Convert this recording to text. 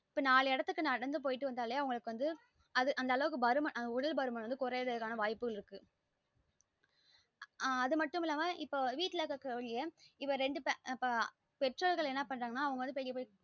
இப்ப நாலு இடத்துக்கு நடந்து போய்ட்டு வந்தாலே அவளுக்கு வந்து அந்த அளவுக்கு பருமன் உடல் பருமன் குறையிரதுக்கு ஆனா வாய்ப்புகள் இருக்கு ஆஹ் இப்ப அது மட்டும் இல்லாம இப்ப வீடல இருக்கா கூடிய இப்ப ரெண்டு பெற்றோர்கள் என்ன பண்ணுறாங்கன்னா அவங்க பட்டுக்கு